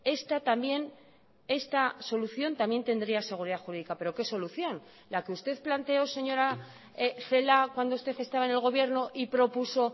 esta también esta solución también tendría seguridad jurídica pero qué solución la que usted planteó señora celaá cuando usted estaba en el gobierno y propuso